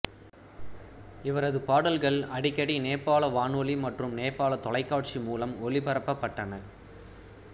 இவரது பாடல்கள் அடிக்கடி நேபாள வானொலி மற்றும் நேபாள தொலைக்காட்சி மூலம் ஒளிபரப்பப்பட்டன